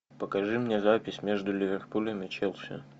покажи мне запись между ливерпулем и челси